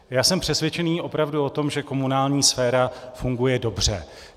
Já jsem přesvědčen opravdu o tom, že komunální sféra funguje dobře.